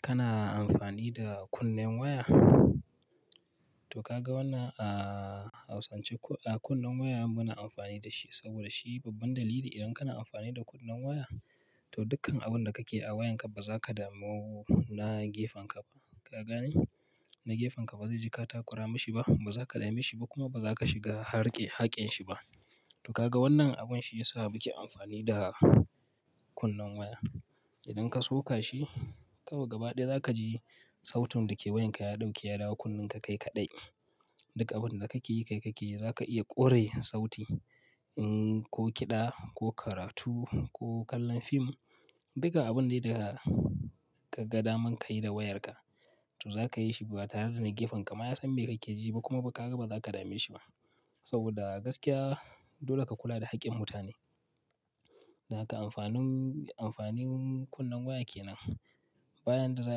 Kana amfani da kunnen waya. To ka ga wannan a hausance ko akunne waya muna amfani da shi saboda shi babban dalili idan kana amfani da kunnen waya, to dukkan abun da kake a wayanka ba za ka damu na gefenka ba. Ka gani? Na gefenka ba zai ji ka takura mishi ba, ba za ka dame shi ba kuma ba za ka shiga harke hakƙin shi ba. To ka ga wannan abun shi ya sa muke amfani da kunne waya. Idan ka soka shi, kawai gaba ɗaya za ka ji sautin da ke wayanka ya ɗauke ya dawo kunnen ka kai kaɗai. Duka abin da kake yi kai kake yi, za ka iya ƙure sauti ko kiɗa ko karatu ko kallon fim. Duka abun dai da ka ga daman ka yi da wayarka, to za ka yi shi ba tare da na gefenka ma ya san me kake ji ba kuma ba ka ga ba za ka dame shi ba. Saboda gaskiya dole ka kula da haƙƙin mutane. Dan haka amfanin kunne waya ke nan. Ba yanda zaka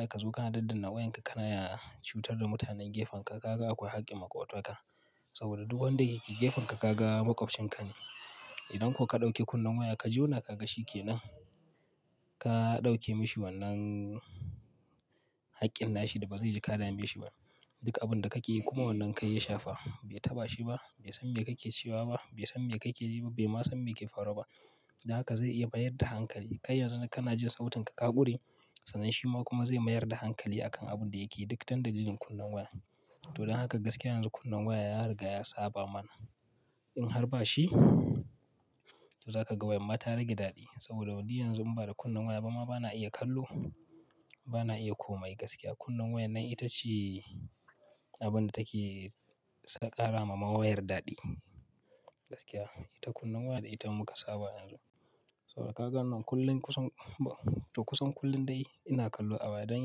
yi kazo kana daddana wayanka kana cutar da mutanen gefenka, ka ga akwai haƙƙin makwabtanka. Saboda duk wanda yake gefenka ka ga maƙwabcin ka ne. Idan ko ka ɗauki kunne waya ka jona ka ga shikke nan, ka ɗauke mashi wannan hakkin nashi da ba ze ji ka dame shi ba duka abin da kake yi kuma wannan kai ya shafa bai taɓa shi ba, bai san me kake cewa ba, bai san me kake ji ba, bai ma san me ke faruwa ba. Dan haka zai iya mayar da hankali. Kai yanzu da kana jin sautin ka, ka ƙure, sanen shi ma kuma zai mayar da hankali akan abun da yake yi. Duk ta dalilin kunne waya. To don haka gaskiya yanzu kunnen waya ya riga ya saba mana. In har ba shi, to za ka ga wayar ma ta rage daɗi. Saboda wadi yanzu in ba da kunnen waya ba ma ba na iya kallo, ba na iya komai gaskiya. Kunnen wayan nan ita ce abin da take ƙara ma wayar daɗi. Gaskiya ita kunnen waya da ita muka saba ado saboda ka ga wannan kullum kusan, kusan kullum dai ina kallo a waya. Don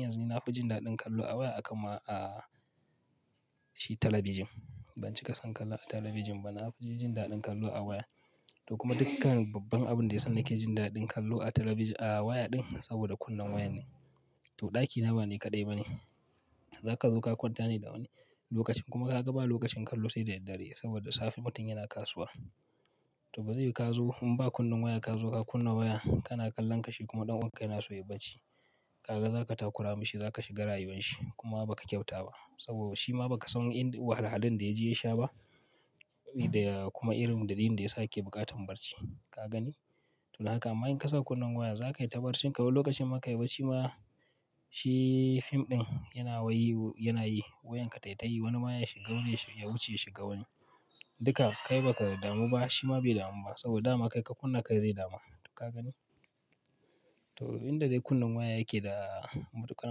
yanzu nafi jin daɗin kallo a waya akan ma a shi talabijin. Ban cika son kallo a talabijin ba. Na fi jin daɗin kallo a waya. To kuma dukkan babban abin da ya sani nake jin daɗin kallo a waya ɗin saboda kunnen waya ne. To ɗakina ba ni kaɗai ba ne. Za ka zo ka kwanta ne da wani lokacin kuma ka ga ba lokacin kallo sai da daddare saboda safe mutum yana kasuwa. To ba zai yu ka zo in ba kunne waya ka zo ka kunna waya kana kallon kashi kuma ɗan uwanka yana so yayi barci. Ka ga za ka takura mashi, za ka shiga rayuwar shi kuma ba ka kyauta ba. Saboda shi ma ba ka san wahalhalin da yaje ya sha ba kuma irin dalilin da ya sake buƙatar barci. Ka gani? To da haka amma in ka sa kunne waya, za ka yi ta barcinka wani lokacin ma ka yi barci ma shi fim ɗin yana wayi yana yi wayanka ta yi tayi wani ma ya shiga ya wuce ya shiga wani. Duka kai ba ka damu ba, shi ma bai damu ba. Saboda dama kai ka kunna kai zai dama. Ka gani? To inda dai kunne waya yake da matuƙar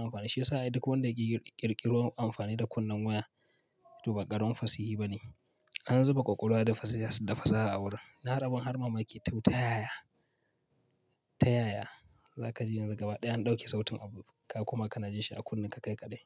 amfani. Shi ya sa duk wanda yake ƙirƙiro amfani da kunne waya to ba ƙarin fasihi bane. An zuba ƙwaƙwalwa da fasaha a wurin. Na harbin har ma ma ke ta yaya, ta yaya za ka ji yanzu gaba ɗaya an ɗauki sautin abu ka kuma kana jin shi a kunnen ka kai kaɗai.